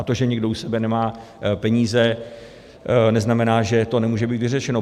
A to, že někdo u sebe nemá peníze, neznamená, že to nemůže být vyřešeno.